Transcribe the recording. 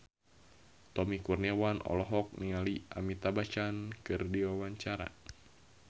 Tommy Kurniawan olohok ningali Amitabh Bachchan keur diwawancara